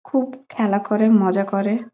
খুব খেলা করে মজা করে।